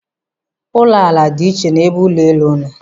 Ụlọ ala dị iche n'ebe ụlọ elu nọ.